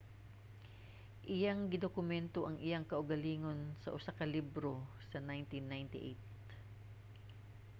iyang gidokumento ang iyang kaugalingon sa usa ka libro sa 1998